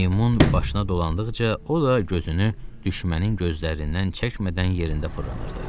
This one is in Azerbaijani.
Meymun başına dolandıqca o da gözünü düşmənin gözlərindən çəkmədən yerində fırlanırdı.